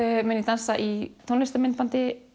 mun ég dansa í